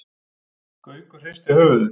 Gaukur hristi höfuðið.